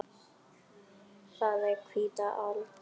Það er hvíta aldan.